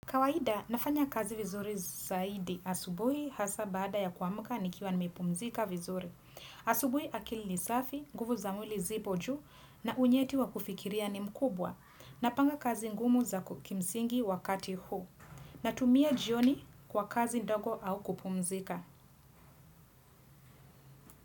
Kawaida nafanya kazi vizuri zaidi asubuhi hasa bada ya kuamka nikiwa nimepumzika vizuri. Asubuhi akili ni safi, nguvu za mwili zipo juu na unyeti wa kufikiria ni mkubwa. Napanga kazi ngumu za kimsingi wakati huu. Natumia jioni kwa kazi ndogo au kupumzika.